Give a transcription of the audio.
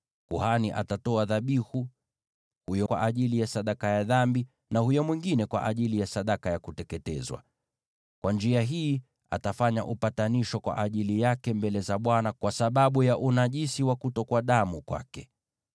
Kuhani atatoa dhabihu, mmoja kwa ajili ya sadaka ya dhambi, na huyo mwingine kwa ajili ya sadaka ya kuteketezwa. Kwa njia hii, atafanya upatanisho kwa ajili yake mbele za Bwana kwa sababu ya unajisi wa kutokwa damu kwake.